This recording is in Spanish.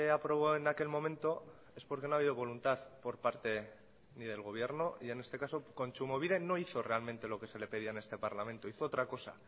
aprobó en aquel momento es porque no ha habido voluntad por parte ni del gobierno y en este caso kontsumobide no hizo realmente lo que se le pedía en este parlamento hizo otra cosa